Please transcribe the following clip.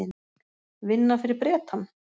Vinna fyrir Bretann?